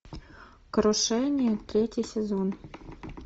крушение третий сезон